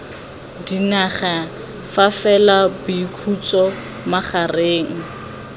dinaga fa fela boikhutso magareng